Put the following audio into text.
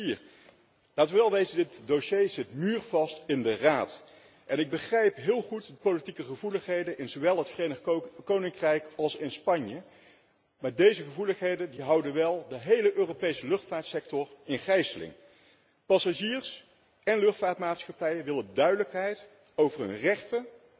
2004. Laten we wel wezen, dit dossier zit muurvast in de Raad. Ik begrijp heel goed de politieke gevoeligheden in zowel het Verenigd Koninkrijk als Spanje, maar deze gevoeligheden houden wel de hele Europese luchtvaartsector gegijzeld. Passagiers en luchtvaartmaatschappijen willen duidelijkheid over hun rechten